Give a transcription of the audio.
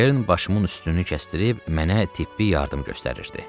Kern başımın üstünü kəsdirir, mənə tibbi yardım göstərirdi.